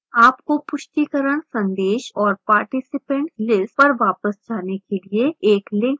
आपको पुष्टिकरण संदेश और participants lists पर वापस जाने के लिए एक link दिखाई देगा